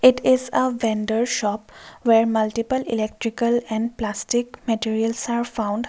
it is a vendor shop where multiple electrical and plastic materials are found.